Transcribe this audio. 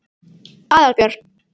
Aðalbjörn